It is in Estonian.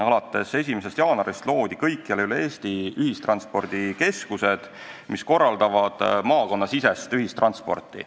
Alates 1. jaanuarist loodi kõikjal üle Eesti ühistranspordikeskused, mis korraldavad maakonnasisest ühistransporti.